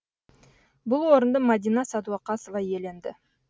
бұл орынды мадина садуақасова иеленді